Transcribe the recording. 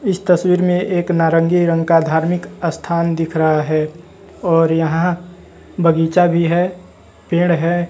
इस तस्वीर में एक नारंगी रंग का धार्मिक स्थान दिख रहा है और यहां बगीचा भी है पेड़ है।